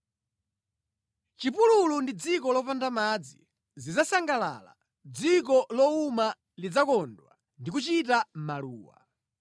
Chipululu ndi dziko lopanda madzi zidzasangalala; dziko lowuma lidzakondwa ndi kuchita maluwa.